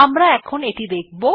আমরা এখন এটি দেখব